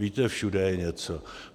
Víte, všude je něco.